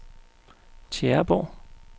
Tjæreborg